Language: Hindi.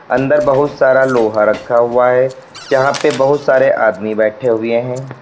अंदर बहुत सारा लोहा रखा हुआ है जहां पर बहुत सारे आदमी बैठे हुए हैं।